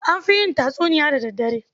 An fi yin tatsuniya da daddare.